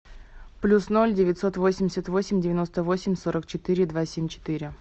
плюс ноль девятьсот восемьдесят восемь девяносто восемь сорок четыре два семь четыре